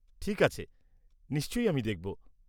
ঠিক আছে, নিশ্চয়ই, আমি দেখব।